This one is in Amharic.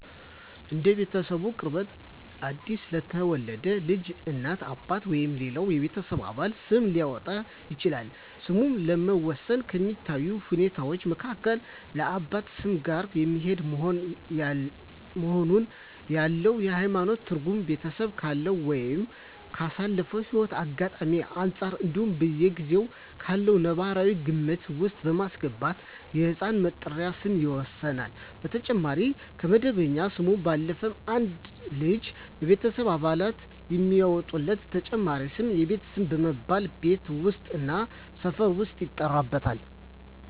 እንደ ቤተሰቡ ቅርበት አዲስ ለተወለደ ልጅ እናት፣ አባት ወይም ሌላው የቤተሰብ አባል ስም ሊያወጣለት ይችላል። ስምን ለመወሰን ከሚታዩ ሁኔታወች መካከል ከአባቱ ስም ጋር የሚሄድ መሆኑን፣ ያለው የሀይማኖት ትርጉም፣ ቤተሰቡ ካለው ወይም ካሳለፈው ህይወት አጋጣሚወች አንፃር እንዲሁም በጊዜው ካለው ነባራዊ ግምት ውስጥ በማስገባት የህፃን መጠሪያ ስም ይወሰናል። በተጨማሪም ከመደበኛ ስሙ ባለፈም አንድ ልጅ የቤተሰብ አባላት የሚያወጡለት ተጨማሪ ስም የቤት ስም በመባል ቤት ውስጥ እና ሰፈር ውስጥ ይጠራበታል።